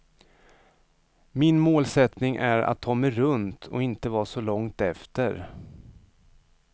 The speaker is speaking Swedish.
Min målsättning är att ta mig runt och inte vara så långt efter.